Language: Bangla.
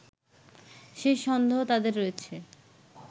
সেই সন্দেহ তাদের রয়েছে